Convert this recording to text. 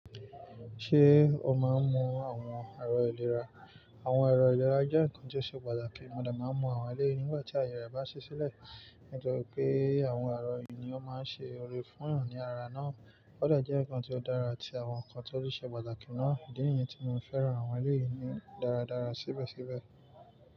Ṣé o máa ń mọ àwọn ẹ̀rọ ìlera? Àwọn ẹ̀rọ ìlera jẹ́ nǹkan tí ó ṣe pàtàkì, mọ́ de máa ń mọ àwọn ẹlẹ́yìí nígbà tí àwọn èèyàn bá ṣi sílẹ̀. Nítorí pé àwọn ẹ̀rọ yìí ni ó máa ń ṣe òre fún 'yan ni ara náà. O de jẹ́ nǹkan tí ó dára àti àwọn nǹkan tó ṣe pàtàkì náà, idi ni yẹn ti mo fẹ́ràn àwọn ẹleyìí ni dáradára síbẹ̀síbẹ̀.